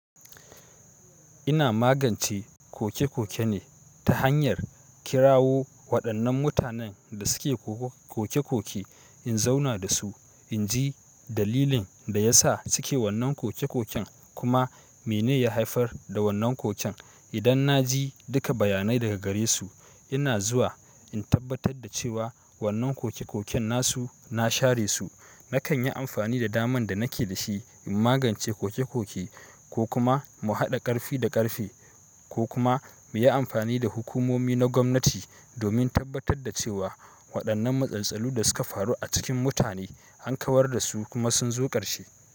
Ina magance koke-koke ne ta hanyar kirawo waɗannan mutanen da suke koke-koke in zauna da su, in ji dalilin da ya sa suke wannan koke-koken kuma mene ya haifar da wannan koken. Idan na ji duka bayanai daga gare su ina zuwa in tabbatar da cewa wannan koke-koken na su, na share su. Nakan yi amfani da daman da nake da shi in magance koke-koke ko kuma mu haɗa ƙarfi da ƙarfe ko kuma mu yi amfani da hukumomi na gwamnati domin tabbatar da cewa waɗannan matsaltsalu da suka faru a cikin mutane an kawar da su kuma sun zo ƙarshe.